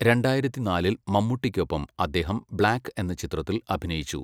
രണ്ടായിരത്തിനാലിൽ മമ്മൂട്ടിക്കൊപ്പം അദ്ദേഹം 'ബ്ലാക്ക്' എന്ന ചിത്രത്തിൽ അഭിനയിച്ചു.